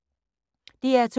DR2